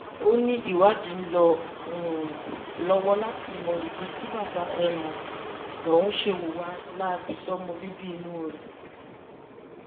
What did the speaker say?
ó ní ìwádìí ń lọ um lọ́wọ́ láti mọ ìdí tí bàbá um ọ̀hún ṣe hu ìwà láabi sọ́mọ bíbí inú rẹ̀